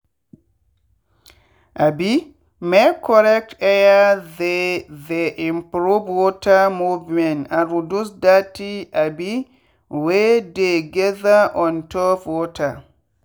um make correct air theythey improve water movement and reduce dirty um wey dey gather on top water.